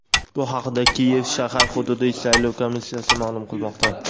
Bu haqida Kiyev shahar hududiy saylov komissiyasi ma’lum qilmoqda.